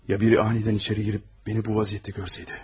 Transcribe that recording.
Ya biri anidən içəri girib məni bu vəziyyətdə görsəydi?